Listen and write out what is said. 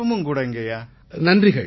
பலப்பல நல்வாழ்த்துக்கள் சகோதரரே